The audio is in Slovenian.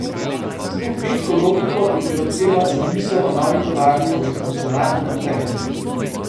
S to kmečko logiko bi bilo treba zamisel o novi tovarni uresničevati naprej.